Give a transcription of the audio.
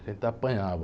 A gente apanhava.